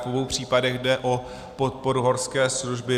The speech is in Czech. V obou případech jde o podporu horské služby.